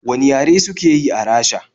Wane yare suke yi a Rasha?